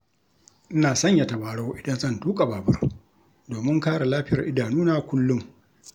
Ina sanya tabarau idan zan tuƙa babur, domin kare lafiyar idanuna kullum.